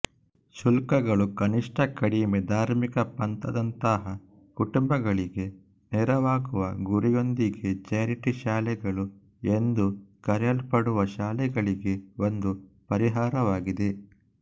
ಶುಲ್ಕಗಳು ಕನಿಷ್ಟಕಡಿಮೆ ಧಾರ್ಮಿಕ ಪಂಥದಂತಹ ಕುಟುಂಬಗಳಿಗೆ ನೆರವಾಗುವ ಗುರಿಯೊಂದಿಗೆ ಚಾರಿಟಿ ಶಾಲೆಗಳು ಎಂದು ಕರೆಯಲ್ಪಡುವ ಶಾಲೆಗಳಿಗೆ ಒಂದು ಪರಿಹಾರವಾಗಿದೆ